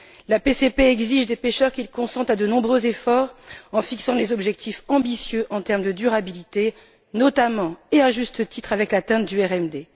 La PCP exige des pêcheurs qu'ils consentent à de nombreux efforts en fixant des objectifs ambitieux en termes de durabilité, notamment et à juste titre avec l'atteinte du RMD.